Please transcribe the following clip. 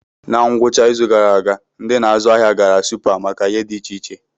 Na ngwụcha izu gara aga, ndị na-azụ ahịa gara Supa maka ihe dị iche iche.